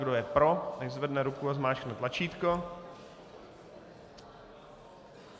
Kdo je pro, nechť zvedne ruku a zmáčkne tlačítko.